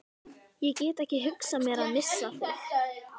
Ég get ekki hugsað mér að missa þig.